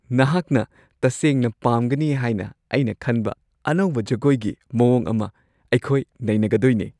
ꯅꯍꯥꯛꯅ ꯇꯁꯦꯡꯅ ꯄꯥꯝꯒꯅꯤ ꯍꯥꯏꯅ ꯑꯩꯅ ꯈꯟꯕ ꯑꯅꯧꯕ ꯖꯒꯣꯏꯒꯤ ꯃꯑꯣꯡ ꯑꯃ ꯑꯩꯈꯣꯏ ꯅꯩꯅꯒꯗꯣꯢꯅꯦ꯫